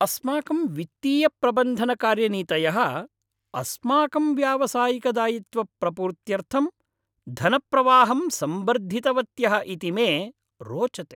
अस्माकं वित्तीयप्रबन्धनकार्यनीतयः अस्माकं व्यावसायिकदायित्वप्रपूर्त्यर्थम् धनप्रवाहं संवर्धितवत्यः इति मे रोचते।